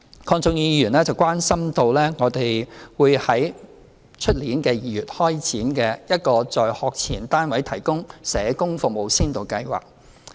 鄺俊宇議員關心明年2月開展的"在學前單位提供社工服務先導計劃"。